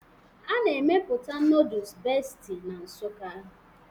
A na-emepụta noodus Bestie na Nsukka